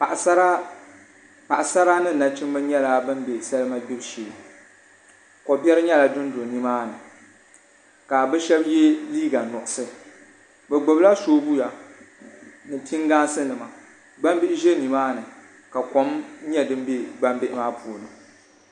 Paɣasara ni nachimbi nyɛla bin bɛ salima gbibu shee kobiɛri nyɛla din do nimaani ka bi shab yɛ liiga nuɣso bi gbubila soobuya ni pingaas nima gbambihi ʒɛ nimaani ka kom nyɛ din bɛ gbambihi maa puuni